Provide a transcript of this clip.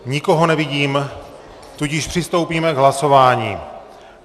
Nikoho nevidím, tudíž přistoupíme k hlasování.